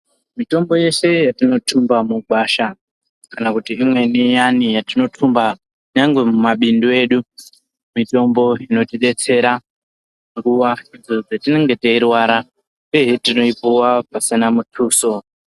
Mitombo yeshe yatinotumba mugwasha kuti imweni iyani yatinotumba nyangwe mumabundu edu mitombo inotidetsera nguwa yatinenge teirwara ubeni tinoipuwa pasina mutuso.